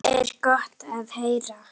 Það er gott að heyra.